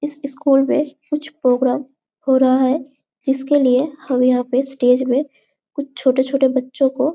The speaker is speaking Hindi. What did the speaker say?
इस स्कुल में कुछ प्रोग्राम हो रहा है जिसके लिए हम यहाँ पे स्टेज में कुछ छोटे-छोटे बच्चों को--